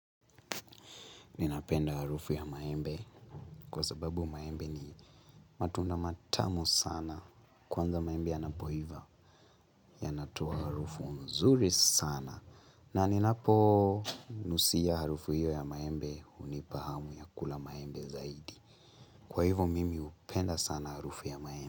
Ninapenda harufu ya maembe kwa sababu maembe ni matunda matamu sana. Kwanza, maembe yanapoiva yanatoa harufu nzuri sana. Na ninaponusia harufu hiyo ya maembe, inanipa hamu ya kula maembe zaidi. Kwa hivo mimi hupenda sana harufu ya maembe.